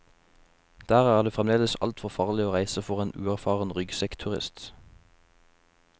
Der er det fremdeles altfor farlig å reise for en uerfaren ryggsekkturist.